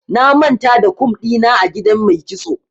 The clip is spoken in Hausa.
Na manta da kum ɗina a gidan mai kitso.